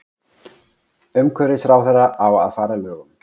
Umhverfisráðherra á að fara að lögum